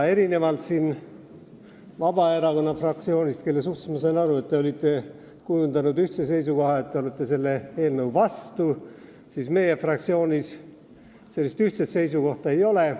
Erinevalt Vabaerakonna fraktsioonist, kes, nagu ma aru sain, on kujundanud ühise seisukoha, et nad on eelnõu vastu, meie fraktsioonis sellist ühtset seisukohta ei ole.